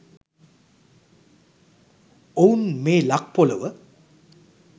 ඔවුන් මේ ලක් පොළොව